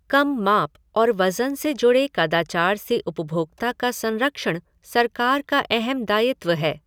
कम माप और वज़न से जुड़े कदाचार से उपभोक्ता का संरक्षण सरकार का अहम दायित्व है।